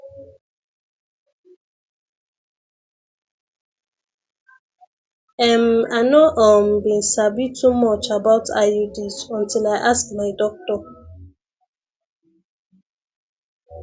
ehm i no um been sabi too much about iuds until i i ask my doctor